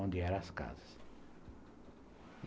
onde eram as casas.